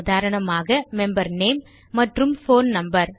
உதாரணமாக member name மற்றும் phone number